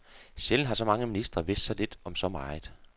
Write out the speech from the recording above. Sjældent har så mange ministre vidst så lidt om så meget.